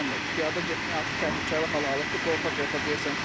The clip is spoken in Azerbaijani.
Piyada getmək artıq təhlükəli hal alıbdır, qorxa-qorxa gedirsən.